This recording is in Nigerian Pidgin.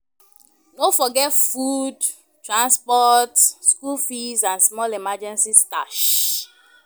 No forget food, transport, school fees and small emergency stash.